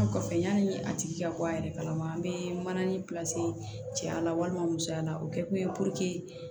kɔfɛ yani a tigi ka bɔ a yɛrɛ kalama an bɛ mananin cɛya la walima musoya la o kɛkun ye